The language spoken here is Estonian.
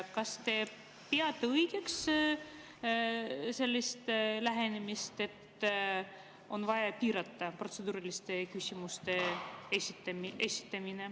Kas te peate õigeks sellist lähenemist, et on vaja piirata protseduuriliste küsimuste esitamist?